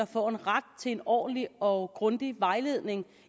får en ret til en ordentlig og grundig vejledning